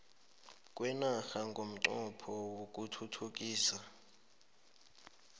kwenarha ngomnqopho wokuthuthukisa